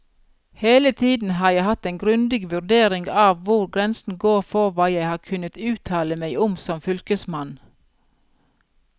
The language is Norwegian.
Hele tiden har jeg hatt en grundig vurdering av hvor grensen går for hva jeg har kunnet uttale meg om som fylkesmann.